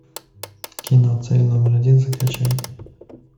кино цель номер один закачай